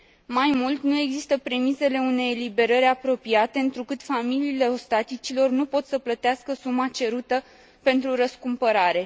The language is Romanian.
Mai mult, nu există premisele unei eliberări apropiate, întrucât familiile ostaticilor nu pot să plătească suma cerută pentru răscumpărare.